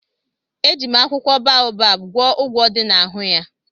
Eji m akwụkwọ baobab gwọọ ụgwọ dị n'ahụ ya.